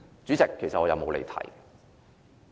主席，我其實沒有離題。